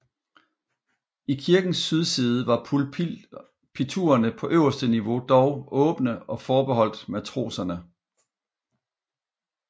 I kirkens sydside var pulpiturerne på øverste niveau dog åbne og forbeholdt matroserne